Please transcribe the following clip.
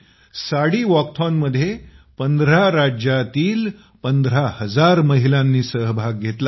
साडी वॉकॅथॉनमध्ये १५ शहरांतील १५००० महिलांनी सहभाग घेतला